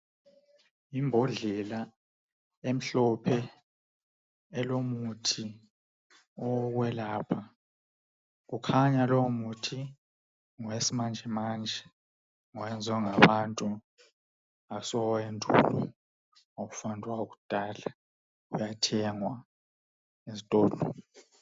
Imbodlela emhlophe elomuthi owokwelapha ukhanya lowomuthi ngowakulezi insuku ngowenziwa ngabantu awuso wendulo awufani lowakudala uyathengwa ezitolo.